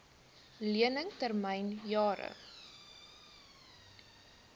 lening termyn jare